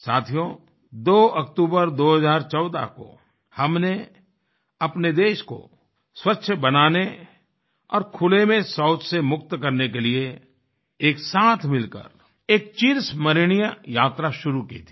साथियों 2 अक्टूबर 2014 को हमने अपने देश को स्वच्छ बनाने और खुले में शौच से मुक्त करने के लिए एक साथ मिलकर एक चिरस्मरणीय यात्रा शुरू की थी